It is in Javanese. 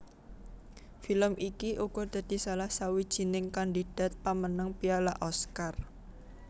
Film iki uga dadi salah sawijining kandidat pamenang piala Oscar